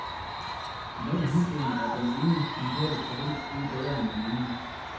I den henseende er den ene mentale provins ikke bedre end den anden.